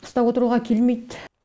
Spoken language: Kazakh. қыста отыруға келмейді